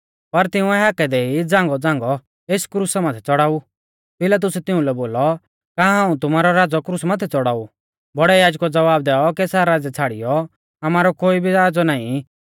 पर तिंउऐ हाकै देई झ़ांगौ झ़ांगौ एस क्रुसा माथै च़ौड़ाऊ पिलातुसै तिउंलै बोलौ का हाऊं तुमारौ राज़ौ क्रुसा माथै च़ौड़ाऊ बौड़ै याजकुऐ ज़वाब दैऔ कैसर राज़ै छ़ाड़ियौ आमारौ कोई भी राज़ौ नाईं